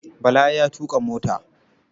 Bala ya tuƙa mota.